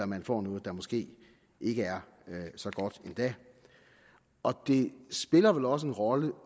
man får noget der måske ikke er så godt endda det spiller vel også en rolle